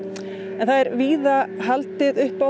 er víða haldið upp á